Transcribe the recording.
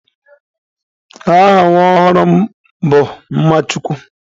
Aha nwa ọhụrụ m bụ Mmachukwu.